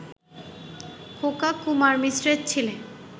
খোকা কুমার মিশ্রের ছেলে